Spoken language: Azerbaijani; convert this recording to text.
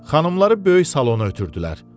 Xanımları böyük salona ötürdülər.